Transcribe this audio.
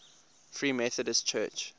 free methodist church